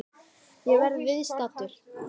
Ég verð viðstaddur!